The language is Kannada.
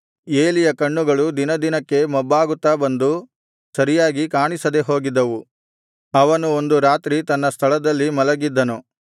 ಏಲಿಯ ಕಣ್ಣುಗಳು ದಿನದಿನಕ್ಕೆ ಮೊಬ್ಬಾಗುತ್ತಾ ಬಂದು ಸರಿಯಾಗಿ ಕಾಣಿಸದೆಹೋಗಿದ್ದವು ಅವನು ಒಂದು ರಾತ್ರಿ ತನ್ನ ಸ್ಥಳದಲ್ಲಿ ಮಲಗಿದ್ದನು